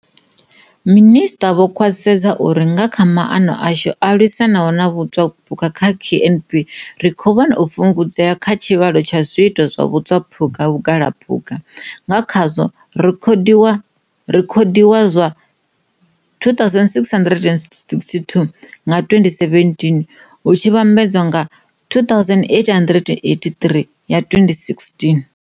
Minisiṱa vho khwaṱhisedza uri nga kha maano ashu a lwisanaho na vhutswaphukha kha KNP ri khou vhona u fhungudzea kha tshivhalo tsha zwiito zwa vhatswaphukha vhugalaphukha, nga kha zwo rekhodiwaho zwa 2662 nga 2017 hu tshi vhambedzwa na 2883 ya 2016.